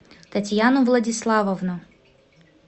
татьяну владиславовну